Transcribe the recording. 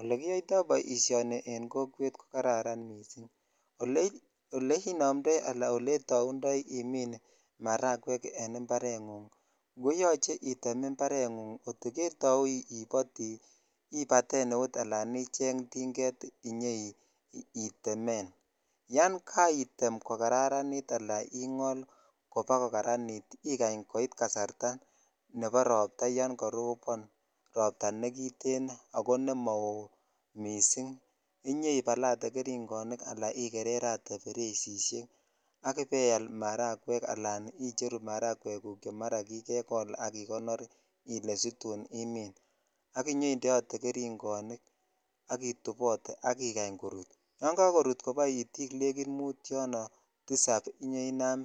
Ole kiyoito boisioni en kokwet ko kararan missing ole inomtoi ala oleitaundoi imin maragwek en imparengung koyoche item imparenhung kot ketau impti ibatan eut alan icheng tinget inyoi temen yan kaitem kokararanit ala ingol koba kokararanit ikany koit kasarta nebo ropta negiten ako nemao missing inyoibalatee geringonik ala igereretee beresishek ak ibeaial maragwek ala icheru che mara kikekol ak igonor ile situn imen ak inyoindeote keringonik ak itupote ak ikany korut yan kakorutkopo itik negit mut yonoako tusap inyoinam